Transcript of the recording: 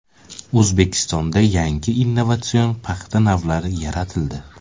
O‘zbekistonda yangi innovatsion paxta navlari yaratildi.